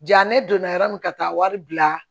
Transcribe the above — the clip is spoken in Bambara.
Ja ne donna yɔrɔ min ka taa wari bila